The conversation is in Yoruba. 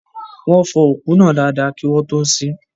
Wọ́n fọ òkú náà dada kí wọ́n tó ṣín